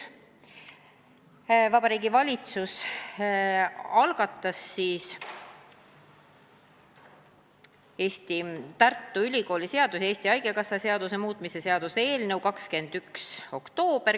Vabariigi Valitsus algatas Tartu Ülikooli seaduse ja Eesti Haigekassa seaduse muutmise seaduse eelnõu k.a 21. oktoobril.